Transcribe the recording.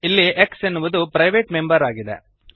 ಇಲ್ಲಿ x ಎನ್ನುವುದು private member ಆಗಿದೆ